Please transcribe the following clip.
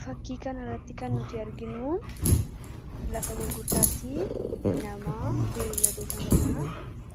fakkii kanarratti kan nuti arginuu lafa gurgurtaatti namaa beyladoota manaa